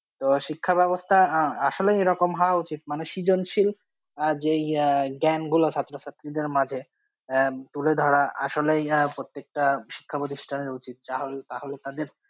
তো শিক্ষা ব্যবস্থা আহ আসলে এরকম হওয়া উচিত মানে সৃজনশীল মানে যেই আহ জ্ঞানগুলো ছাত্রছাত্রীদের মাঝে আহ তুলে ধরা আসলেই আহ প্রত্যেকটা শিক্ষা প্রতিষ্ঠানের উচিত তাহলে তাদের